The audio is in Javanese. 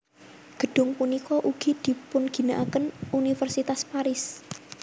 Gedung punika ugi dipunginakaken Universitas Paris